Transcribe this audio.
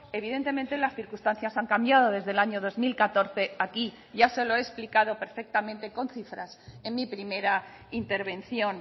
evidentemente las circunstancias han cambiado desde el año dos mil catorce aquí ya se lo he explicado perfectamente con cifras en mi primera intervención